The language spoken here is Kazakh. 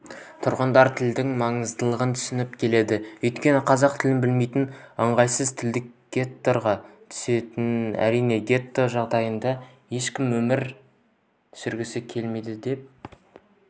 тұрғындар тілдің маңыздылығын түсініп келеді өйткені қазақ тілін білмей ыңғайсыз тілдік геттоға түсесің әрине гетто жағдайында ешкімнің өмір сүргісі келмейді деп